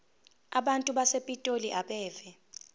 abantu basepitoli abeve